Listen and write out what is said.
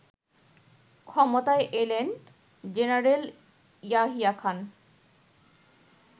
ক্ষমতায় এলেন জেনারেল ইয়াহিয়া খান